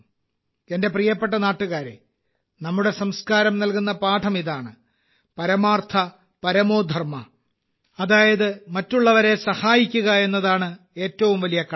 എന്റെ പ്രിയപ്പെട്ട നാട്ടുകാരേ നമ്മുടെ സംസ്കാരം നൽകുന്ന പാഠം ഇതാണ് പരമാർത്ഥ പരമോ ധർമ്മഃ അതായത് മറ്റുള്ളവരെ സഹായിക്കുക എന്നതാണ് ഏറ്റവും വലിയ കടമ